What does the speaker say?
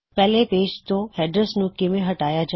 ਪਹਿਲੇ ਪੇਜ ਤੋਂ ਹੈਡਰਜ ਨੂੰ ਕਿਵੇ ਹਟਾਇਆ ਜਾਏ